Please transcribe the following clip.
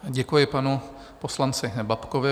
Děkuji panu poslanci Babkovi.